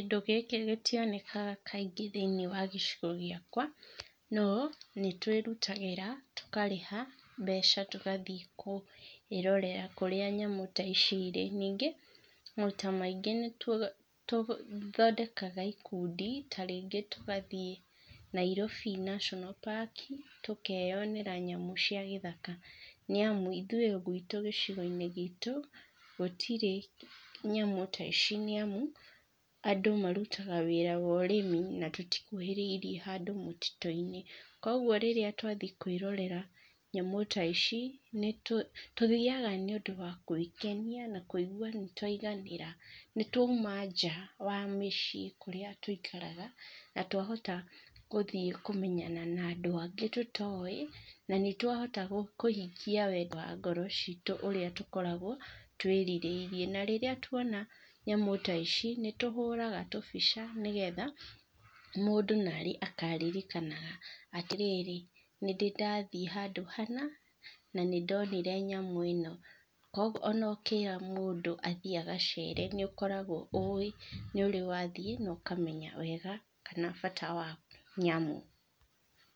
Kĩndũ gĩkĩ gĩtionekaga kaingĩ thĩinĩ wa gĩcigo gĩakwa, no nĩ twĩrutagĩra tũkarĩha mbeca tũgathiĩ kwĩrorera kũrĩa nyamũ ta ici irĩ, ningĩ maita maingĩ nĩ tũthondekaga ikundi ta rĩngĩ tũgathiĩ Nairobi National Park, tũkeyonera nyamũ cia gĩthaka nĩ amu ithuĩ gwitũ gĩcigo-inĩ gitũ gũtirĩ nyamũ ta ici nĩ amu andũ marutaga wĩra wa ũrĩmi na tũtikuhĩrĩirie handũ mũtitũ-inĩ, kwoguo rĩrĩa twathiĩ kwĩrorera nyamũ ta ici, tũthiaga nĩ ũndũ wa gwĩkenia na kũigua nĩ twaiganĩra nĩ twauma nja wa mĩciĩ kũrĩa tũikaraga na twahota gũthiĩ kũmenya na andũ angĩ tũtoĩ na nĩ twahota kũhingia wendi wa ngoro citũ ũrĩa tũkoragwo twĩrirĩirie na rĩrĩa twona nyamũ ta ici nĩ tũhũraga tũbica nĩgetha, mũndũ na rĩ akaririkanaga atĩ rĩrĩ nĩ ndĩ ndathiĩ handũ hana na nĩ ndonire nyamũ ĩno, kwoguo ona ũkĩra mũndũ athiĩ agacere nĩ ũkoragwo ũĩ nĩ ũrĩ wa thiĩ na ũkamenya wega kana bata wa nyamũ.